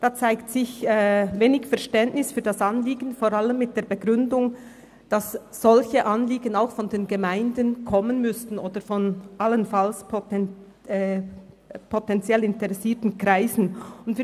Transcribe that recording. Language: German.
Es zeigt sich wenig Verständnis für das Anliegen, vor allem mit der Begründung, dass solche Anliegen von den Gemeinden oder allenfalls von den potentiell interessierten Kreisen eingebracht werden müssten.